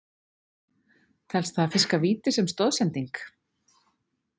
Telst það að fiska víti sem stoðsending?